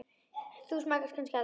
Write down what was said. Þú smakkar það kannski aldrei?